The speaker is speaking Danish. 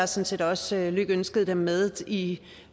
set også lykønsket dem med i